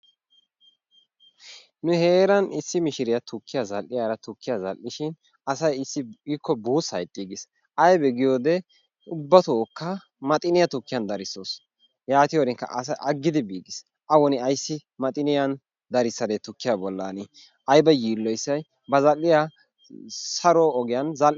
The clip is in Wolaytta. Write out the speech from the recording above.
Nu heeran issi mishshiriya tukkiya zal'iyara tukkiya zal'ishin asay issippe ikko buusaa ixxiigis. Aybee giyode ubatooka maxiniyaa tukkiyan darissawusu yaatiyorinikka asy aggidi biigiis.A woni ayssi maxiniyan darissadee tukkiya bollan aybba yiiloyisay ba zal'iya saro ogiyan zal.